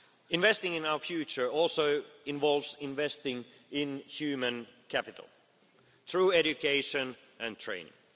Investing in our future also involves investing in human capital through education and training.